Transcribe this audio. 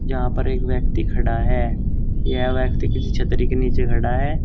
यहां पर एक व्यक्ति खड़ा है यह व्यक्ति किसी छतरी के नीचे खड़ा है।